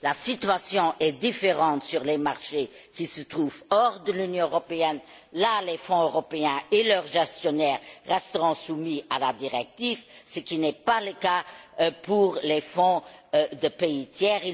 La situation est différente sur les marchés qui se trouvent hors de l'Union européenne là, les fonds européens et leurs gestionnaires resteront soumis à la directive, ce qui n'est pas le cas pour les fonds des pays tiers.